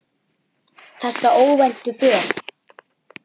Þessa óvæntu för.